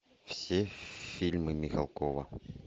все фильмы михалкова